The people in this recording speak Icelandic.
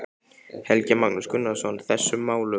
Helgi Magnús Gunnarsson: Þessum málum?